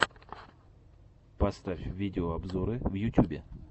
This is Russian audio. поставь видеообзоры в ютюбе